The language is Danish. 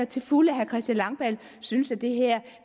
til fulde at herre christian langballe synes